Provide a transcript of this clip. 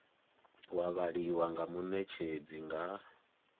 wa vhaliwa nga munetshedzi nga